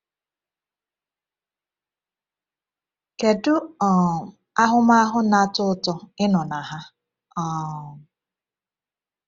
Kedu um ahụmahụ na-atọ ụtọ ịnọ na ha! um